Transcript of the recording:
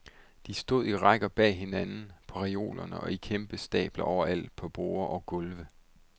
De stod i rækker bag hinanden, på reolerne og i kæmpe stabler overalt på borde og gulve.